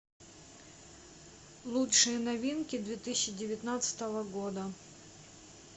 лучшие новинки две тысячи девятнадцатого года